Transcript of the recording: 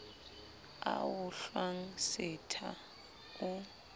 a o hlwang setha o